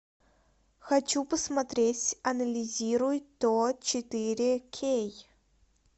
хочу посмотреть анализируй то четыре кей